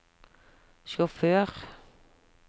sjåfør